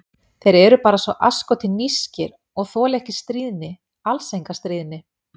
Þeir eru bara svo asskoti nískir, og þola ekki stríðni, alls enga stríðni.